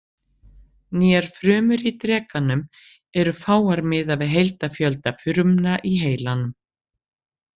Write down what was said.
Nýjar frumur í drekanum eru fáar miðað við heildarfjölda frumna í heilanum.